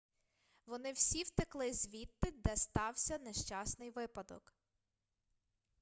вони всі втекли звідти де стався нещасний випадок